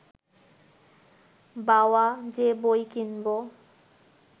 বাওয়া, যে বই কিনব